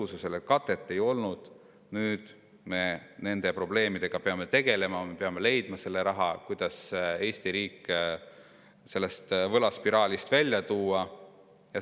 Sellele katet ei olnud ja nüüd me peame nende probleemidega tegelema, peame leidma selle raha, kuidas Eesti riik sellest võlaspiraalist välja tuua.